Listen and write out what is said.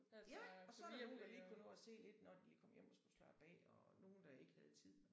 Ja og så er der nogen der lige kunne nå at se lidt når de kom hjem og skulle slappe af og nogen der ikke havde tid